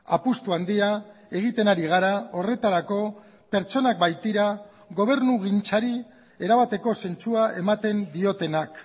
apustu handia egiten ari gara horretarako pertsonak baitira gobernugintzari erabateko zentzua ematen diotenak